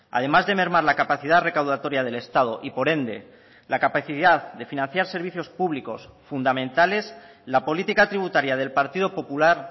además de mermar la capacidad recaudatoria del estado y por ende la capacidad de financiar servicios públicos fundamentales la política tributaria del partido popular